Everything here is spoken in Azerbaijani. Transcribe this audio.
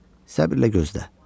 Səbirlə gözlə.